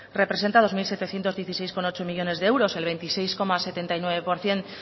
representa dos mil setecientos dieciséis coma ocho millónes de euros el veintiséis coma setenta por ciento